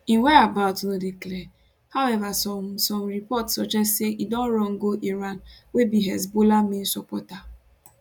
im whereabouts no dey clear however some some reports suggest say e don run go iran wey be hezbollah main supporter